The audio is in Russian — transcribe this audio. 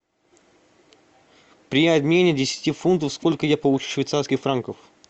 при обмене десяти фунтов сколько я получу швейцарских франков